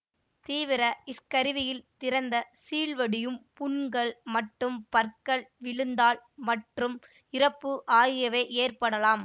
தீவிர ஸ்கர்வியில் திறந்த சீழ்வடியும் புண்கள் மற்றும் பற்கள் விழுதல் மற்றும் இறப்பு ஆகியவை ஏற்படலாம்